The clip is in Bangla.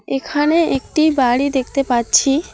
এখানে একটি বাড়ি দেখতে পাচ্ছি।